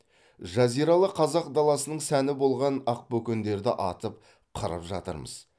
жазиралы қазақ даласының сәні болған ақбөкендерді атып қырып жатырмыз